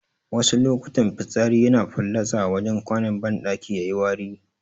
Wasu lokutan fitsari yana fallatsa a wajen kwanon banɗaki yayiwari